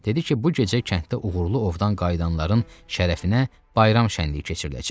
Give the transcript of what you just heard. Dedi ki, bu gecə kənddə uğurlu ovdan qayıdanların şərəfinə bayram şənliyi keçiriləcək.